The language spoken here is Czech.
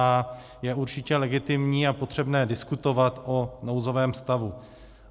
A je určitě legitimní a potřebné diskutovat o nouzovém stavu.